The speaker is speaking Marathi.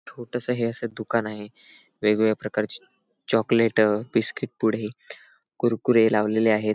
छोटस अस हे दुकान आहे वेगवेगळ्या प्रकारची चॉकलेट बिसकिट पुडे कुरकुरे लावलेले आहेत.